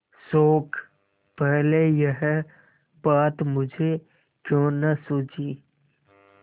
शोक पहले यह बात मुझे क्यों न सूझी